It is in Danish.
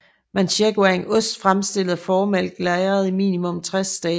Manchego er en ost fremstillet af fåremælk lagret i minimum 60 dage